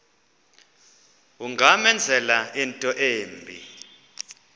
ungamenzela into embi